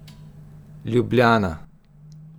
Ljubljana.